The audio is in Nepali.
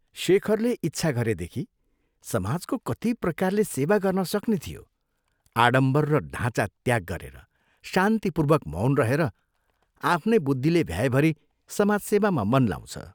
शेखरले इच्छा गरेदेखि समाजको कति प्रकारले सेवा गर्न सक्ने थियो आडम्बर र ढाँचा त्याग गरेर शान्तिपूर्वक मौन रहेर आफ्नै बुद्धिले भ्याएभरि समाजसेवामा मन लाउँछ।